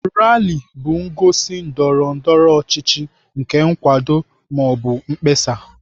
Rali bụ ngosi ndọrọ ndọrọ ọchịchị nke nkwado ma ọ bụ mkpesa